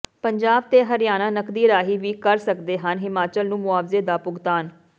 ਪੰਜਾਬ ਤੇ ਹਰਿਆਣਾ ਨਕਦੀ ਰਾਹੀਂ ਵੀ ਕਰ ਸਕਦੇ ਹਨ ਹਿਮਾਚਲ ਨੂੰ ਮੁਆਵਜ਼ੇ ਦਾ ਭੁਗਤਾਨ